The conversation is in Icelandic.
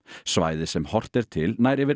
svæðið sem horft er til nær yfir